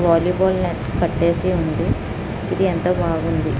వాలీ ball net కట్టేసి ఉంది. ఇది అంతా బావుంది.